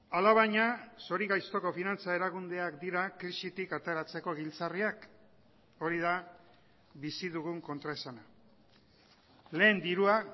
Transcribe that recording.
alabaina zori gaixtoko finantza erakundeak dira krisitik ateratzeko giltzarriak hori da bizi dugun kontraesana lehen dirua